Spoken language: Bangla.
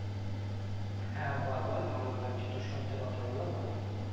হ্যাঁ বল বল ভালো লাগছে তো শুনতে কথা গুলো বল একটু বল